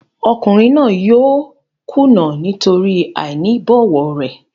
Ọkùnrin náà yóò kùnà nítorí àìní ìbọ̀wọ̀ rẹ̀.